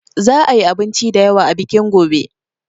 Za a yi abinci da yawa a bikin gobe.